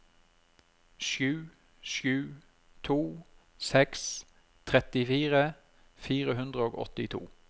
sju sju to seks trettifire fire hundre og åttito